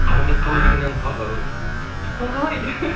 қарындас қалай деген ән ы ол қалай